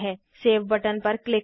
save button पर click करें